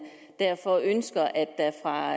derfor ønsker at der fra